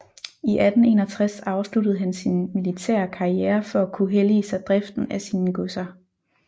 I 1861 afsluttede han sin militære karriere for at kunne hellige sig driften af sine godser